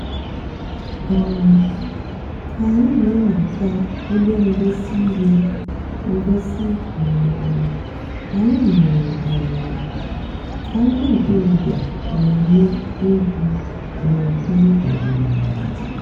um kà ànyị́ nà-ènyòchá èbé ǹgósì íhé ǹgósì um ànyị́ nụ́rụ́ um kà ndị́ ǹtọ́rọ̀bìá nà-èmée ègwú n'ụ́dị́ ọ̀dị́náàlà.